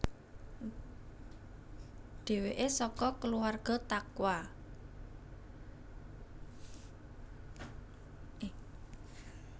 Dheweke saka kulawrga taqwa